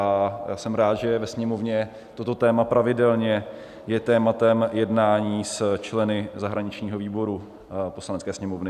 A jsem rád, že ve Sněmovně toto téma pravidelně je tématem jednání s členy zahraničního výboru Poslanecké sněmovny.